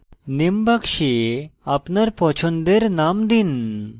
name box আপনার পছন্দের name দিন